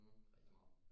Mhm rigtig meget